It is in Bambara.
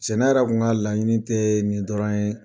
Cɛ ne yɛrɛ kun ka laɲini tɛ nin dɔrɔn ye.